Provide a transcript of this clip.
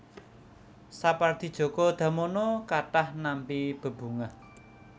Sapardi Djoko Damono kathah nampi bebungah